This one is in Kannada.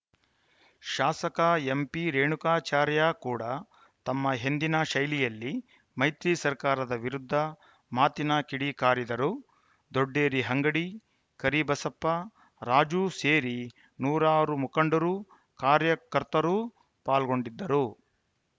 ಶಾಸಕ ಎಂಪಿರೇಣುಕಾಚಾರ್ಯ ಕೂಡಾ ತಮ್ಮ ಎಂದಿನ ಶೈಲಿಯಲ್ಲಿ ಮೈತ್ರಿ ಸರ್ಕಾರದ ವಿರುದ್ಧ ಮಾತಿನ ಕಿಡಿಕಾರಿದರು ದೊಡ್ಡೇರಿ ಅಂಗಡಿ ಕರಿಬಸಪ್ಪ ರಾಜು ಸೇರಿ ನೂರಾರು ಮುಖಂಡರು ಕಾರ್ಯಕರ್ತರು ಪಾಲ್ಗೊಂಡಿದ್ದರು